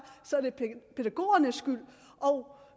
så er det pædagogernes skyld